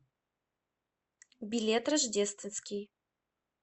билет рождественский